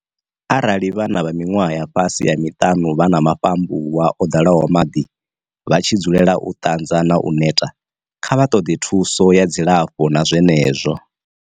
Arali vhana vha miṅwaha ya fhasi ha miṱanu vha na mafhambuwa o ḓalaho maḓi, vha tshi dzulela u ṱanza na u neta, kha vha ṱoḓe thuso ya dzilafho na zwenezwo.